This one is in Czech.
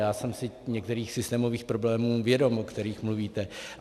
Já jsem si některých systémových problémů vědom, o kterých mluvíte.